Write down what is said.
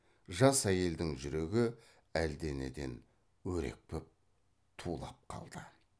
жас әйелдің жүрегі әлденеден өрекпіп тулап қалды